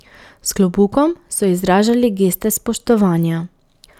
S klobukom so izražali geste spoštovanja.